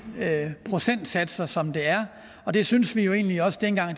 procentsatser som der er og det synes vi jo egentlig også dengang